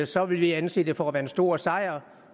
så vil vi anse det for at være en stor sejr